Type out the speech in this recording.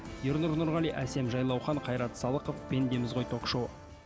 ернұр нұрғали әсем жайлаухан қайрат салықов пендеміз ғой ток шоуы